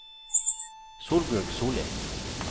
Solbjørg Solli